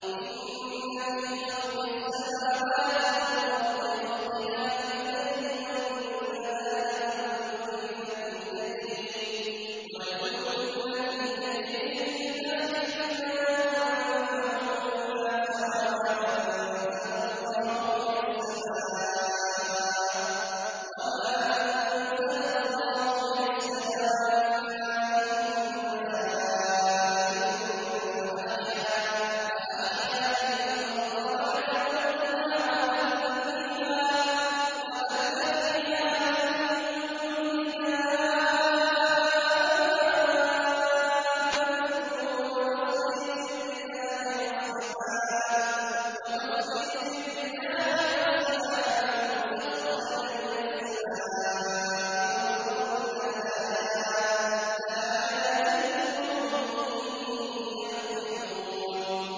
إِنَّ فِي خَلْقِ السَّمَاوَاتِ وَالْأَرْضِ وَاخْتِلَافِ اللَّيْلِ وَالنَّهَارِ وَالْفُلْكِ الَّتِي تَجْرِي فِي الْبَحْرِ بِمَا يَنفَعُ النَّاسَ وَمَا أَنزَلَ اللَّهُ مِنَ السَّمَاءِ مِن مَّاءٍ فَأَحْيَا بِهِ الْأَرْضَ بَعْدَ مَوْتِهَا وَبَثَّ فِيهَا مِن كُلِّ دَابَّةٍ وَتَصْرِيفِ الرِّيَاحِ وَالسَّحَابِ الْمُسَخَّرِ بَيْنَ السَّمَاءِ وَالْأَرْضِ لَآيَاتٍ لِّقَوْمٍ يَعْقِلُونَ